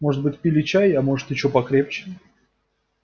может быть пили чай а может и чего покрепче